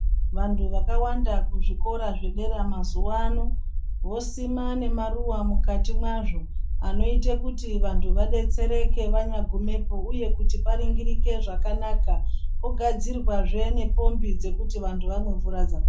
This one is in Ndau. Vantu vakawanda kuzvikora zvedera mumazuwaano vosima nemaruwa mukati mwazvo anoita kuti vantu vadetsereke vanyagumapo uye kuti paningirike zvakanaka kugadzirwa zve nepombi dzekuti vantu vamwe mvura dzakachena.